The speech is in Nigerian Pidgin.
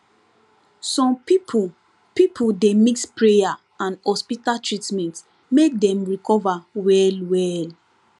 some people people dey mix prayer and hospital treatment make dem recover wellwell